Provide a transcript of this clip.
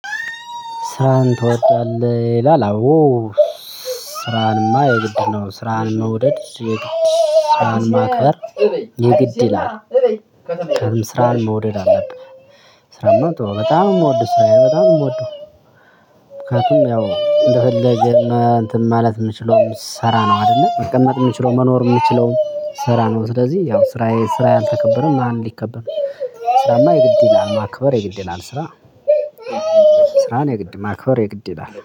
ስራን ትወዳለህ ይላል አዎ ስራንማ የግድ ነው ስራን መውደድ የግድ ስራን ማክበር የግድ ይላል። ስራን መውደድ አለብህ ስራማ ተወው በጣም ምወደው ስራዬ በጣም የምወደው ምክንያቱም ያው እንደፈለገ እንትን ማለት የምችለው ብስራ ነው አይደለ መቀመጥ ምችለው መኖር ምችለው ስራ ነው ስለዚህ ያው ስራዬ ስራ ያልተከበረ ማን ሊከበር ነው ስራማ የግድ ይላል ማክበር የግድ ይላል ስራ ስራን የግድ ማክበር የግድ ይላል።